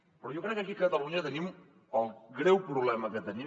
però jo crec que aquí a catalunya el greu problema que tenim